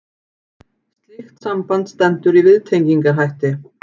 slíkt samband stendur í viðtengingarhætti